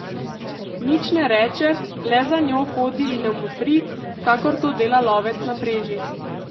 Nič ne reče, le za njo hodi in jo motri, kakor to dela lovec na preži.